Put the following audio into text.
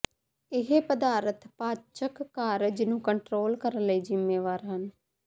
ਇਹ ਪਦਾਰਥ ਪਾਚਕ ਕਾਰਜ ਨੂੰ ਕੰਟਰੋਲ ਕਰਨ ਲਈ ਜ਼ਿੰਮੇਵਾਰ ਹਨ